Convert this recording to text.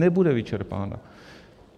Nebude vyčerpána.